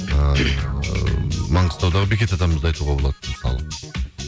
ыыы маңғыстаудағы бекет атамызды айтуға болады мысалы